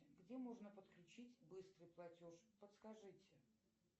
где можно подключить быстрый платеж подскажите